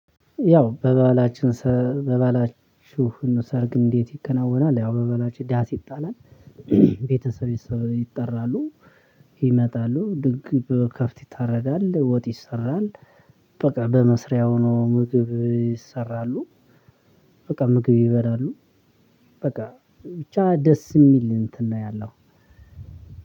ያው በበላችሁ ሰርግ እንዴት ይከናወናል? ያው በባህላችን ዳስ ይጣላል ይጣላል ቤተሰብ ይጠራሉ። ይመጣሉ ድንቅ ከፍት ይታረዳል ወጥ ይሰራል በቃ በመስሪያ ሆኖ ምግብ ይሰራሉ። በቃ ምግብ ይበላሉ። በቃ ብቻ ደስ የሚል እንትን ነው ያለው